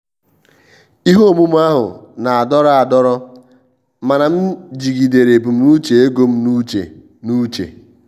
ihe omume ahụ na-adọrọ adọrọ mana m jigidere ebumnuche ego m n'uche. n'uche.